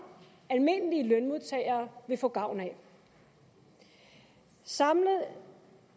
almindelige lønmodtagere vil få gavn af samlet